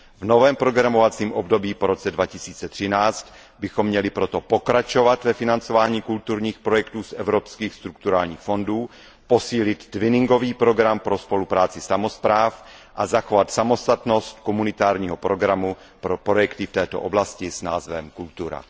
V novém programovém období po roce 2013 bychom měli proto pokračovat ve financování kulturních projektů z evropských strukturálních fondů, posílit twinningový program pro spolupráci samospráv a zachovat samostatnost komunitárního programu pro projekty v této oblasti s názvem Kultura.